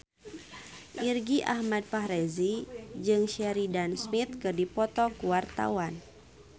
Irgi Ahmad Fahrezi jeung Sheridan Smith keur dipoto ku wartawan